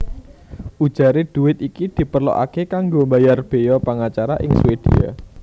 Ujaré dhuwit iki diperlokaké kanggo mbayar béya pangacara ing Swédia